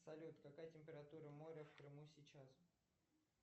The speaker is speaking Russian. салют какая температура моря в крыму сейчас